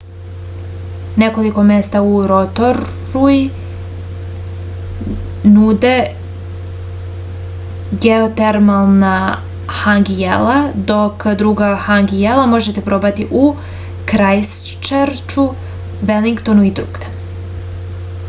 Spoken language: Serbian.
nekoliko mesta u rotorui nude geotermalna hangi jela dok druga hangi jela možete probati u krajstčerču velingtonu i drugde